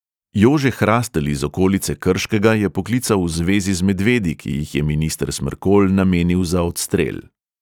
Jože hrastelj iz okolice krškega je poklical v zvezi z medvedi, ki jih je minister smrkolj namenil za odstrel.